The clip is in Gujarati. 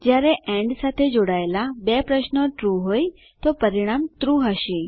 જયારે એન્ડ સાથે જોડાયેલા બે પ્રશ્નો ટ્રૂ હોય છે તો પરિણામ ટ્રૂ હશે